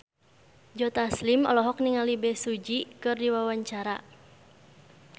Joe Taslim olohok ningali Bae Su Ji keur diwawancara